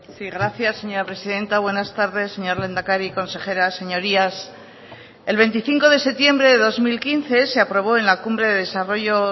sí gracias señora presidenta buenas tardes señor lehendakari consejeras señorías el veinticinco de septiembre de dos mil quince se aprobó en la cumbre de desarrollo